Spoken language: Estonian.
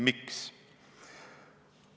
Miks?